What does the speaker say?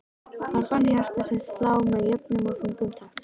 Hann fann hjarta sitt slá með jöfnum og þungum takti.